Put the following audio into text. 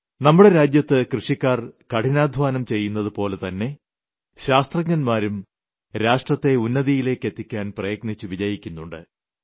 നമ്മുടെ രാജ്യത്ത് കൃഷിക്കാർ കഠിനാദ്ധ്വാനം ചെയ്യുന്നതു പോലെ തന്നെ ശാസ്ത്രജ്ഞൻമാരും രാഷ്ട്രത്തെ ഉന്നതിയിലെത്തിക്കാൻ പ്രയത്നിച്ചു വിജയിക്കുന്നുണ്ട്